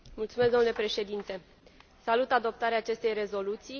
Domnule președinte, salut adoptarea acestei rezoluții.